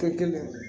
Ka kɛnɛ